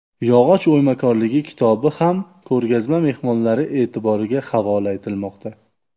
Yog‘och o‘ymakorligi” kitobi ham ko‘rgazma mehmonlari e’tiboriga havola etilmoqda.